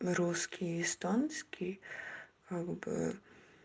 русский эстонский как бы